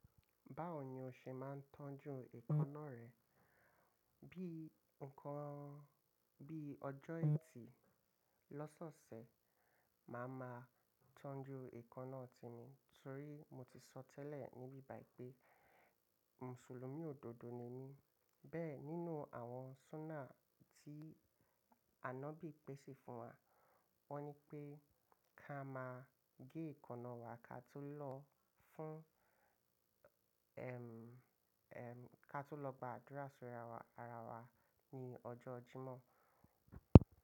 Báwo ni o ṣe máa ń tọ́jú èékánná rẹ? Bí nǹkan, bí ọjọ́ ẹtì lọ́sọ̀ọ̀sẹ̀, màá máa tọ́jú èékánná tè mi. Torí mo ti sọ tẹ́lẹ̀ ní bíbàyí pé Mùsùlùmí òdodo ni mí. Bẹ́ẹ̀ nínú àwọn Sunnah tí Ànọ́bì pèsè fún wa wọ́n nipé ká máa gé èékánná wa ká tó lọ fún, ẹm, ẹm, ká tó lọ gba àdúrà sí ara wa ní ọjọ́ Jímọ̀